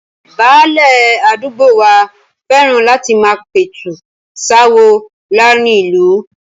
Báálẹ̀ àdúgbò wa fẹ́ràn láti máa pẹ̀tù sááwọ̀ láàrin ìlú